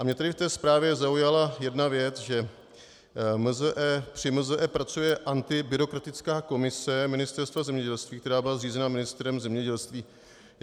A mě tedy v té zprávě zaujala jedna věc, že při MZe pracuje antibyrokratická komise Ministerstva zemědělství, která byla zřízena ministrem zemědělství.